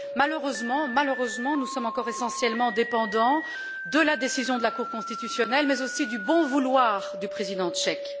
Malheureusement, nous sommes encore essentiellement dépendants de la décision de la cour constitutionnelle, mais aussi du bon vouloir du président tchèque.